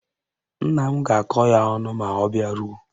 Nna m ga-akọ ya ọnụ ma ọ bịaruo